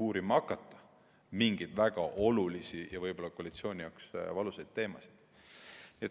uurima hakata mingeid väga olulisi ja võib-olla ka koalitsiooni jaoks valusaid teemasid, neid isegi mitte päevakorda panna.